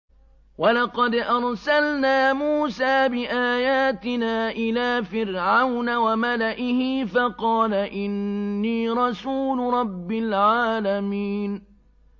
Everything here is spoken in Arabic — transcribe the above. وَلَقَدْ أَرْسَلْنَا مُوسَىٰ بِآيَاتِنَا إِلَىٰ فِرْعَوْنَ وَمَلَئِهِ فَقَالَ إِنِّي رَسُولُ رَبِّ الْعَالَمِينَ